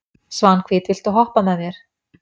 Svanhvít, viltu hoppa með mér?